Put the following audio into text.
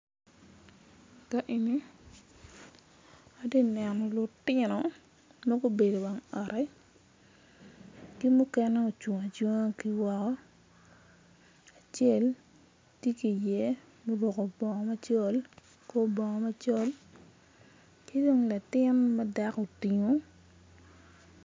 Ka eni atye ka neno lutino ma gubedo iwang oot ki mukene ocung acunga ki woko acel tye ki iye oruko bongo macol kor bongo macol ki dong latin ma dako otingo